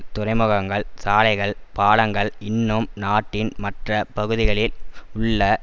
துறைமுகங்கள் சாலைகள் பாலங்கள் இன்னும் நாட்டின் மற்ற பகுதிகளில் உள்ள